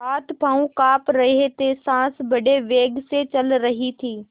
हाथपॉँव कॉँप रहे थे सॉँस बड़े वेग से चल रही थी